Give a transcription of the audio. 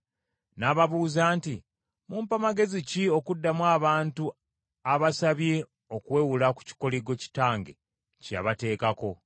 N’ababuuza nti, “Mumpa magezi ki okuddamu abantu abasabye okuwewula ku kikoligo kitange kye yabateekako?”